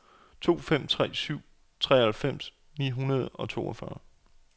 to fem tre syv treoghalvfems ni hundrede og toogfyrre